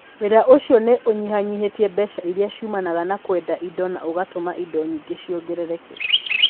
Wĩra ũcio nĩ ũnyihanyihĩtie mbeca iria ciumanaga na kwendia indo na ũgatũma indo nyingĩ ciongerereke.